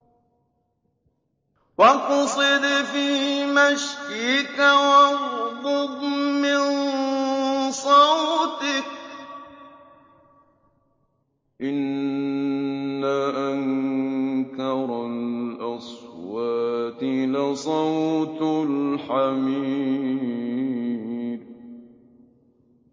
وَاقْصِدْ فِي مَشْيِكَ وَاغْضُضْ مِن صَوْتِكَ ۚ إِنَّ أَنكَرَ الْأَصْوَاتِ لَصَوْتُ الْحَمِيرِ